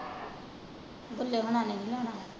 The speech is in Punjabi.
ਗੁੱਲੇ ਹੋਣਾ ਨੇ ਨਹੀਂ ਲੈਣਾ।